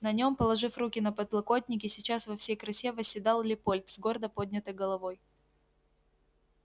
на нём положив руки на подлокотники сейчас во всей красе восседал лепольд с гордо поднятой головой